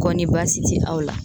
Kɔni basi ti aw la.